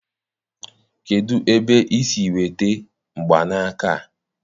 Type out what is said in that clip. kedụ ebe i si nweta mgbanaka a?